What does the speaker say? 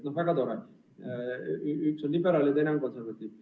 No väga tore, üks on liberaal ja teine konservatiiv.